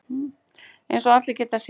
Eins og allir geta séð.